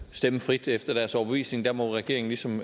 stemme frit efter deres overbevisning der må regeringen ligesom